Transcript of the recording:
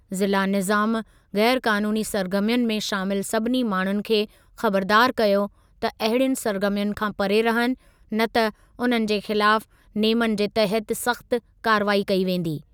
ज़िला निज़ामु ग़ैर क़ानूनी सरगर्मियुनि में शामिलु सभिनी माण्हुनि खे ख़बरदार कयो त अहिड़ियुनि सरगर्मियुनि खां परे रहनि, न त उन्हनि जे ख़िलाफ़ु नेमनि जे तहति सख़्त कार्रवाई कई वेंदी।